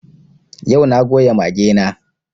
Yau na goya mage na